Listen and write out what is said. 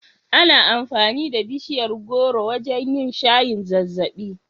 Ana amfani da bishiyar gworo wajen yin shayin zazzaɓi.